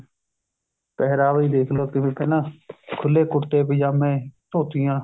ਪਹਿਰਾਵਾ ਹੀ ਦੇਖਲੋ ਕਿਵੇਂ ਪਹਿਲਾਂ ਖੁੱਲੇ ਕੁੜਤੇ ਪਜਾਮੇ ਧੋਤੀਆ